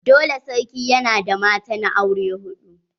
Dole sarki yana da matan aure hudu.